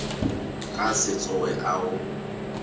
ka se tsoge a go